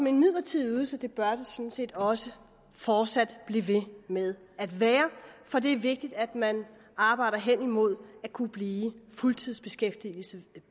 en midlertidig ydelse bør det sådan set også fortsat blive ved med at være for det er vigtigt at man arbejder hen imod at kunne blive fuldtidsbeskæftiget